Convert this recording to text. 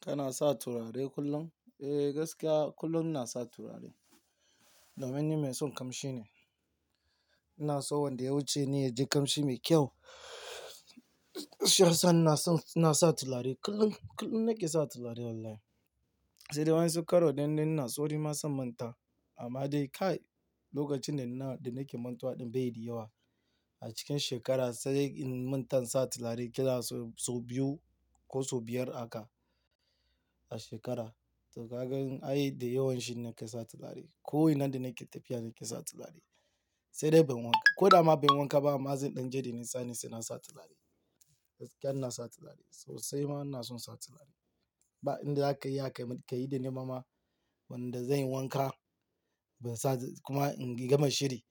Kana sa turare kullum? Eh, gaskiya kullum ina sa turare. Domin ni mai son kamshi ne. Ina so wanda ya wuce ni ya ji kamshi mai kyau. Shiyasa ina son, ina sa turare kullum, kullum nake sa turare wallahi. Sai dai wa'yansu karo idan dai ina sauri ma sai in manta. Amma dai kai lokacin da ina, da nake mantuwa ɗin bai yi da yawa. A cikin shekara sai in manta in sa turare ƙila sau, sau biyu ko sau biyar haka a shekara. To kagan ai da yawan shi nake sa turare. Ko ina da nake tafiya nake sa turare. Sai dai ban wanka, ko da ma banyi wanka ba, amma zan ɗan je da nisa ne, sai nasa turare. Gaskiya ina sa turare. Sosai ma ina son sa turare. Ba in za ka iya ka, ka yi da ni ma wanda zai yi wanka ban sa, kuma in yi gama shiri